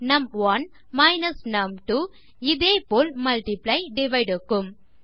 number 1 number 2 இதே போல் multiply divide க்கும்